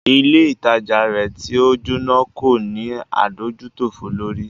Ilé ìtajà rẹ̀ tí o jóná kò ní adójútòfò lórí.